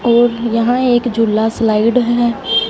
और यहां एक झूला स्लाइड है।